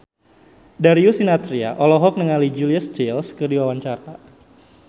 Darius Sinathrya olohok ningali Julia Stiles keur diwawancara